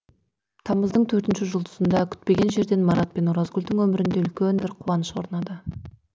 тамыздың төртінші жұлдызында күтпеген жерден марат пен оразгүлдің өмірінде үлкен бір қуаныш орнады